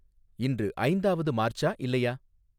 இன்று ஐந்தாவது மார்ச்சா இல்லையா